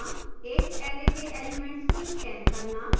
एक array के elements को scan करना